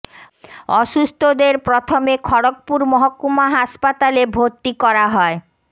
অসুস্থদের প্রথমে খড়্গপুর মহকুমা হাসপাতালে ভর্তি করা হয়